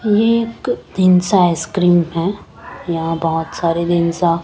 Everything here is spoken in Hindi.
ये एक तिन्सा आइस क्रीम है यहा बहोत सारे तिन्सा--